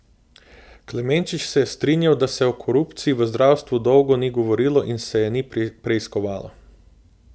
Klemenčič se je strinjal, da se o korupciji v zdravstvu dolgo ni govorilo in se je ni preiskovalo.